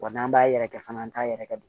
Wa n'an b'a yɛrɛkɛ fana an t'a yɛrɛ kɛ